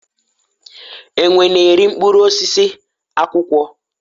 enwe na-eri mkpụrụ osisi, akwụkwọ